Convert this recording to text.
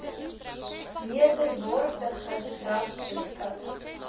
meerderwaardige ras beskou